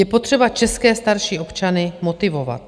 Je potřeba české starší občany motivovat.